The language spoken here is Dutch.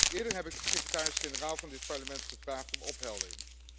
Eerder heb ik de secretaris generaal van dit Parlement gevraagd om opheldering.